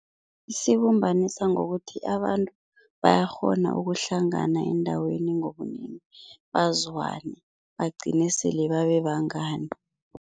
Isibumbanisa ngokuthi abantu bayakghona ukuhlangana endaweni ngobunengi, bazwane bagcine sele babe bangani.